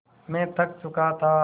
मैं थक चुका था